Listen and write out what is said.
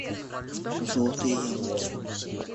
желтые яблоки